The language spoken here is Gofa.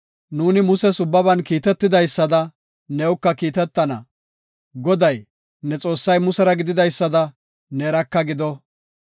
Nuuni Muses ubbaban kiitetidaysada, newuka kiitetana. Goday, ne Xoossay Musera gididaysada, neeraka gido.